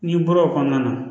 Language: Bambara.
N'i bɔra o kɔnɔna na